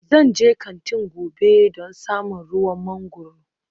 Zan je kantin gobe don samo ruwan mangwaro